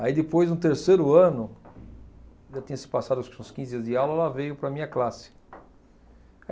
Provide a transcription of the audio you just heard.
Aí depois, no terceiro ano, já tinha se passado acho que uns quinze dias de aula, ela veio para a minha classe.